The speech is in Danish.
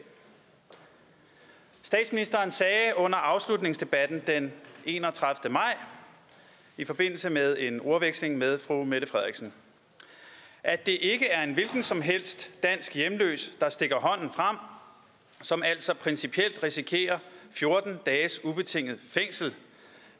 statsministeren sagde under afslutningsdebatten den enogtredivete maj i forbindelse med en ordveksling med fru mette frederiksen at det ikke er en hvilken som helst dansk hjemløs der stikker hånden frem som altså principielt risikerer fjorten dages ubetinget fængsel